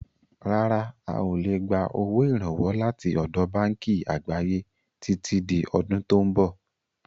Rárá, a ó lè gbà owó Ìrànwọ́ láti ọ̀dọ̀ báànkì àgbáyé títí di ọdún tò ń bọ̀.